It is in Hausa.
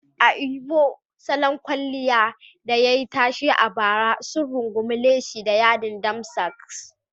A Imo, salon kwalliya da yayi tashe a bara sun rungumi leshi da yadin damsask.